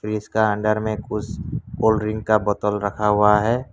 इसका अंदर में कुछ कोल्ड ड्रिंक का बोतल रखा हुआ है।